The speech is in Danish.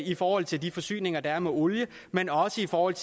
i forhold til de forsyninger der er med olie men også for at